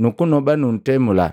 nukunoba nuntemula.